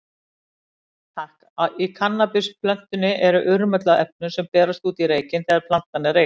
Í kannabisplöntunni er urmull af efnum, sem berast út í reykinn þegar plantan er reykt.